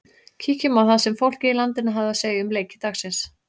Kíkjum á það sem fólkið í landinu hafði að segja um leiki dagsins.